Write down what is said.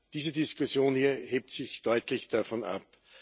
Diese Diskussion hier hebt sich deutlich davon ab.